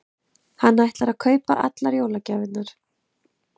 Hann ætlar að kaupa allar jólagjafirnar.